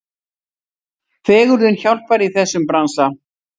Fegurðin hjálpar í þessum bransa.